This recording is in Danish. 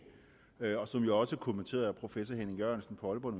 og som jo også er kommenteret af professor henning jørgensen fra aalborg